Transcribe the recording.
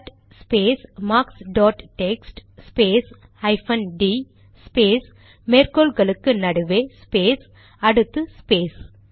cut space marks dot text space hyphen D space மேற்கோள் குறிகளுக்கு நடுவே ஸ்பேஸ் அடுத்து ஸ்பேஸ்